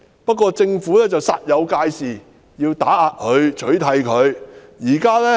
不過，政府煞有介事，要打壓及取締香港民族黨。